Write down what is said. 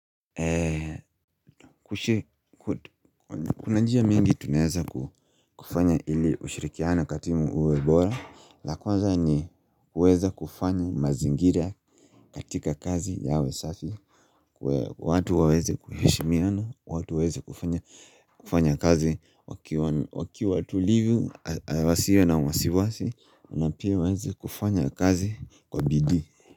Kuna njia mingi tunaweza kufanya ili ushirikiano kwa timu uwe bora la kwaza ni kuweza kufanya mazingira katika kazi yawe safi watu waweze kuheshimiana watu waweze kufanya kufanya kazi wakiwa watulivu wasiwe na uwasiwasi na pia waweze kufanya kazi kwa bidii.